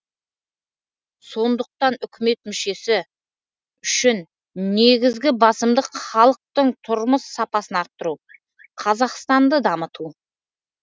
сондықтан үкімет мүшесі үшін негізгі басымдық халықтың тұрмыс сапасын арттыру қазақстанды дамыту